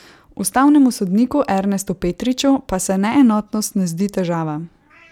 Ustavnemu sodniku Ernestu Petriču pa se neenotnost ne zdi težava.